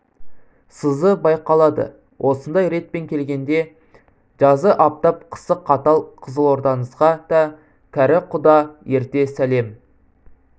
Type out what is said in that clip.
сызы байқалады осындай ретпен келгенде жазы аптап қысы қатал қызылордаңызға да кәрі құда ерте сәлем